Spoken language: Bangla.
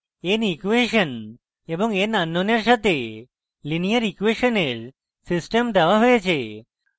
n ইকুয়েশন এবং n আননোনের সাথে linear ইকুয়েশনের system দেওয়া হয়েছে